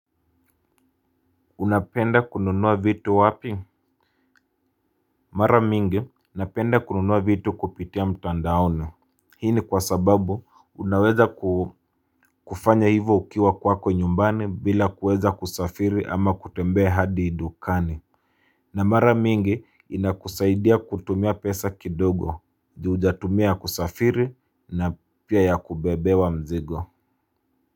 Unapenda kununua vitu wapi? Mara mingi, napenda kununua vitu kupitia mtandaoni. Hii ni kwa sababu, unaweza kufanya hivo ukiwa kwako nyumbani bila kuweza kusafiri ama kutembea hadi dukani. Na mara mingi, inakusaidia kutumia pesa kidogo, ju hujatumia ya kusafiri na pia ya kubebewa mzigo.